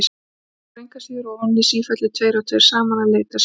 Þeir fóru engu að síður ofan í sífellu tveir og tveir saman að leita sinna.